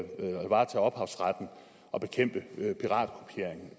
varetage ophavsretten og bekæmpe piratkopiering